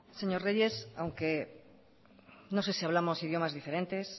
señor reyes aunque no sé si hablamos idiomas diferentes